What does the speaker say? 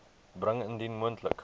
bring indien moontlik